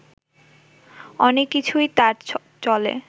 অনেক কিছুই তাঁর চলে